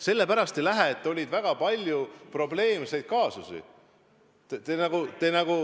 Sellepärast ei lähe, et oli väga palju probleemseid kaasusi.